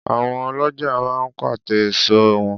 Àwọn ọlọ́ja máa ń pàte èso wọn